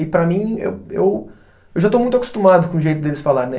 E para mim, eu eu eu já estou muito acostumado com o jeito deles falar, né?